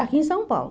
Aqui em São Paulo.